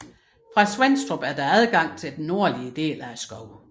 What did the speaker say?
Fra Svenstrup er der adgang til den nordlige del af skoven